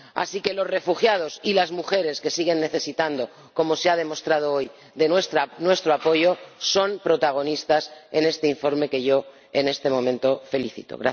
Así que los refugiados y las mujeres, que siguen necesitando, como se ha demostrado hoy, de nuestro apoyo, son protagonistas de este informe, del que yo en este momento me felicito.